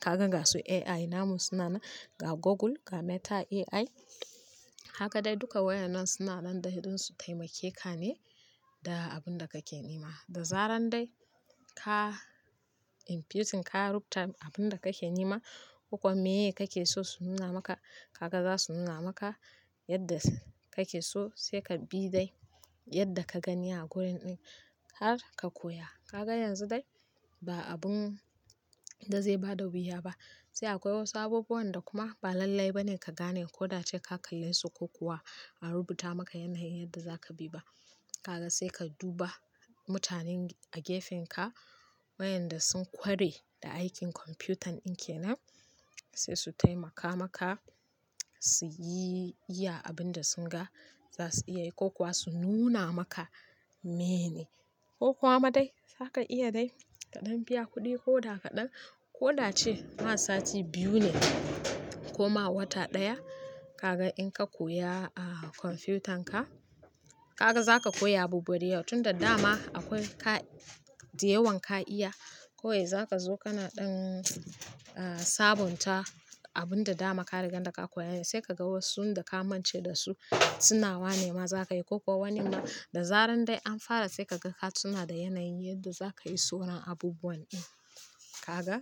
Kaga ga su AI namu suna na ga Google, ga Meta AI. Haka dai duka wayan nan suna nan dai don su taimake ka ne da abun da kake nema. Da zaran dai ka inputing ka rubuta abun da kake nema, ko kuwa meye kake so su nuna maka, kaga za su nuna maka yadda kake so sai ka bi dai yadda ka gani a gurin ɗin har ka koya. Kaga yanzu dai ba abun da zai ba da wuya ba. Sai akwai wasu abubuwan da kuma ba lallai ba ne ka gane ko da ce ka kalle su ko kuwa an rubuta maka yanayin yadda za ka bi ba. Kaga sai ka duba mutanen a gefen ka wayanda sun ƙware da aikin kwamfutan ɗin kenan, sai su taimaka maka su yi iya abin da sun ga za su iya yi ko kuwa su nuna maka menene. Ko kuwa ma dai za ka iya dai kaɗan biya kuɗi ko da kaɗan ko da ci ma sati biyu ne ko ma wata ɗaya. Kaga in ka koya kwamfutanka, kaga za ka koya abubuwa da yawa tun da dama akwai ka-- da yawan ka iya. Kawai za ka zo kana ɗan sabonta abun da dama ka riga da ka koyane, sai ka ga wasun da ka manta da su suna wane ma za ka yi ko kuwa wani ma, da zaran dai an fara sai ka ga ka tuna da yanayin yadda za ka yi sauron abubuwan ɗin. Kaga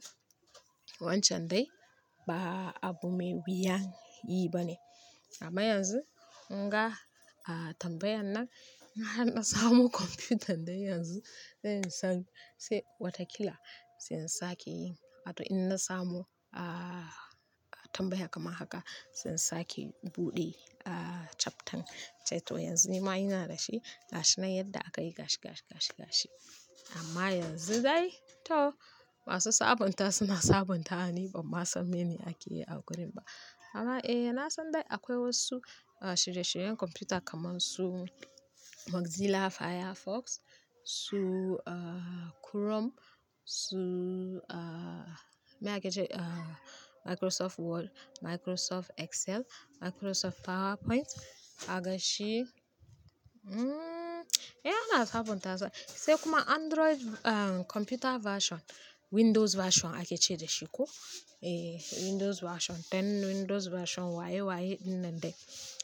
wancan dai ba abu mai wuyan yi ba ne. Amma yanzu kun ga tambayan nan, har na samo kwamfutan dai yanzu. Sai in san--sai wataƙila zan sake yin. Wato in na samo tambaya kamar haka zan sake buɗe chapter. To yanzu ni ma ina da shi gashi nan yadda aka yi gashi, gashi, gashi, gashi. Amma yanzu dai to masu sabonta suna sabonta, ni bama san mene ake yi a gurin ba. Amma eh na san dai akwai wasu shirye-shiryen kwamfuta kamar su Mozilla Firefox, su Chrome, su me ake ce, Microsoft Word, Microsoft Excel, Microsoft PowerPoint. Kag shi, eh ina sabonta su. Sai kuma Android kwamfuta version, Windows version ake ce da shi ko? Eh Windows version 10, Windows version waye-waye ɗin nan dai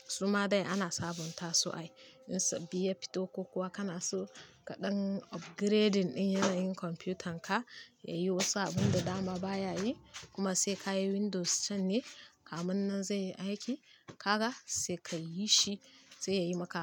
suma dai ana sabonta su ai. In sabbi ya fito ko kuwa kana so kaɗan upgrading ɗin yanayin kwamfutanka yayi wasu abun da dama baya yi kuma sai ka yi Windows din ne kamun nan zai yi aiki. Kaga sai ka yi shi sai yayi maka abun.